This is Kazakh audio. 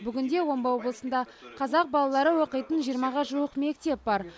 бүгінде омбы облысында қазақ балалары оқитын жиырмаға жуық мектеп бар